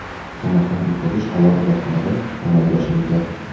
Sanoqdan o‘tkazish alohida xonada amalga oshirilgan.